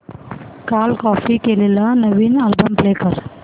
काल कॉपी केलेला नवीन अल्बम प्ले कर